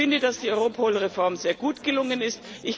Ich finde, dass die Europol Reform sehr gut gelungen ist.